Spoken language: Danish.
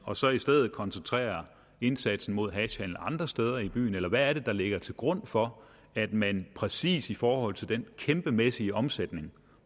og så i stedet koncentrere indsatsen mod hashhandelen andre steder i byen eller hvad er det der ligger til grund for at man præcis i forhold til den kæmpemæssige omsætning